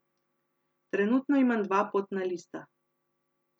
Trenutno imam dva potna lista.